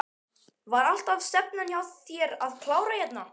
Var alltaf stefnan hjá þér að klára hérna?